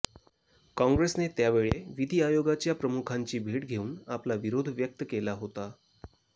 काँग्रेसने त्यावेळी विधी आयोगाच्या प्रमुखांची भेट घेऊन आपला विरोध व्यक्त केला होता